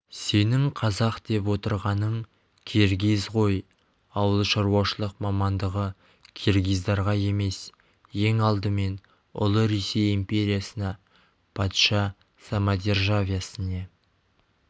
сенің қазақ деп отырғаның киргиз ғой ауыл шаруашылық мамандығы киргиздарға емес ең алдымен ұлы ресей империясына патша самодержавиесіне